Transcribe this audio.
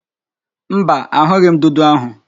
Mba, ahughi m ndudu ahu